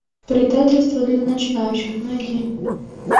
предательство для начинающих найди